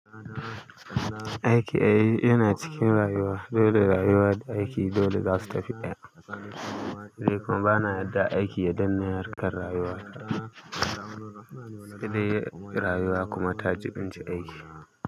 Aiki ai yana cikin rayuwa, dole rayuwa da aiki dole za su tafi ɗaya. Ni kuma ba na yarda aiki ya danne harkar rayuwa. Sai rayuwa kuma ta.